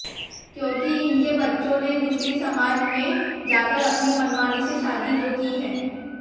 क्योंकि इनके बच्चों ने दूसरी सामज में जाकर अपनी मनमानी से शादी जो की है